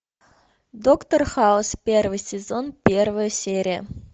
доктор хаус первый сезон первая серия